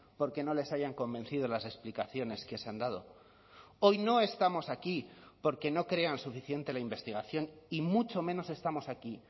porque no les hayan convencido las explicaciones que se han dado hoy no estamos aquí porque no crean suficiente la investigación y mucho menos estamos aquí